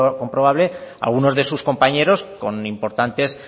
comprobable algunos de sus compañeros con importantes